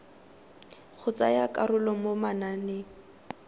go tsaya karolo mo mananeng